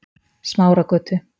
Smáragötu